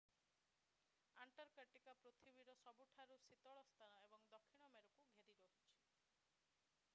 ଆଣ୍ଟାର୍କଟିକା ପୃଥିବୀର ସବୁଠାରୁ ଶୀତଳ ସ୍ଥାନ ଏବଂ ଦକ୍ଷିଣ ମେରୁକୁ ଘେରି ରହିଛି